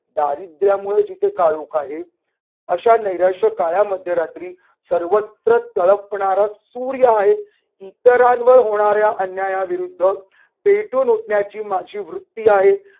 दारिद्र्यामुळे जिथे काळोख आहे. अशा नैराश्य काळ्या मध्यरात्री सर्वत्र तळपणारा सूर्य आहे. इतरांवर होणाऱ्या अन्यायाविरुद्ध पेटून उठण्याची माझी वृत्ती आहे.